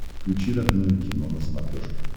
включи родное кино на смотрешке